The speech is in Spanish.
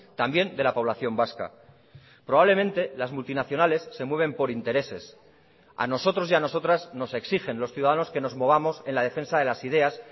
también de la población vasca probablemente las multinacionales se mueven por intereses a nosotros y a nosotras nos exigen los ciudadanos que nos movamos en la defensa de las ideas